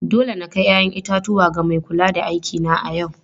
Dole na kai 'ya'yan itatuwa ga mai kula da aikina a yau.